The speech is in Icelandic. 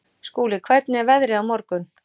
Skúli, hvernig er veðrið á morgun?